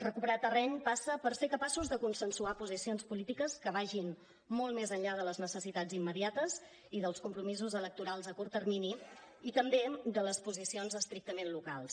recuperar terreny passa per ser capaços de consensuar posicions polítiques que vagin molt més enllà de les necessitats immediates i dels compromisos electorals a curt termini i també de les posicions estrictament locals